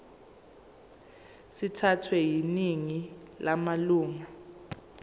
sithathwe yiningi lamalunga